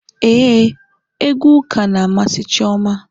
Éè, egwu ụka na amasị Chioma